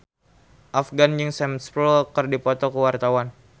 Afgan jeung Sam Spruell keur dipoto ku wartawan